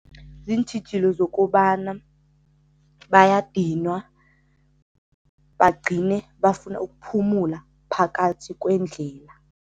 Ziintjhijilo zokobana bayadinwa, bagcine bafuna ukuphumula phakathi kwendlela.